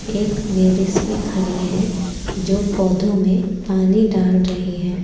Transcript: एक लेडिस भी खड़ी है जो पौधों में पानी डाल रही है।